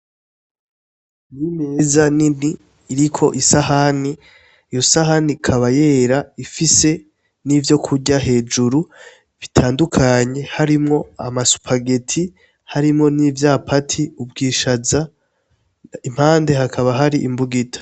Ni imeza nini iriko isahani, iyo sahani ikaba yera ifise n'ivyokurya hejuru bitandukanye harimwo amasupageti harimwo n'ivyapati, ubwishaza impande hakaba hari imbugita.